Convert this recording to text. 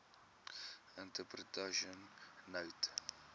interpretation note no